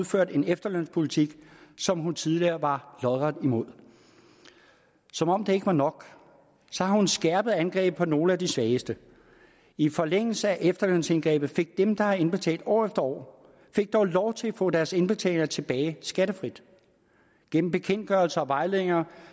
ført en efterlønspolitik som hun tidligere var lodret imod som om det ikke var nok har hun skærpet angrebet på nogle af de svageste i forlængelse af efterlønsindgrebet fik dem der har indbetalt år dog lov til at få deres indbetalinger tilbage skattefrit gennem bekendtgørelser og vejledninger